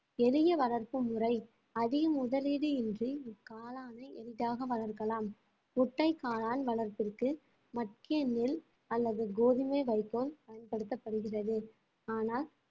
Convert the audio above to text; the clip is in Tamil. எளிய வளர்ப்பு முறை அதிக முதலீடுயின்றி இக்காளானை எளிதாக வளர்க்கலாம் முட்டைக் காளான் வளர்ப்பிற்கு மக்கிய நெல் அல்லது கோதுமை வைக்கோல் பயன்படுத்தப்படுகிறது ஆனால்